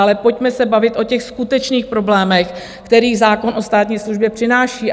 Ale pojďme se bavit o těch skutečných problémech, které zákon o státní službě přináší.